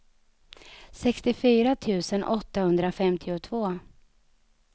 sextiofyra tusen åttahundrafemtiotvå